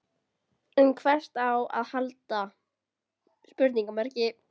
En hvert á að halda?